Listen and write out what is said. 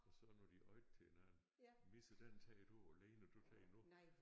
Og så når de råbte til hinanden Misse den tager du og Lene du tager nu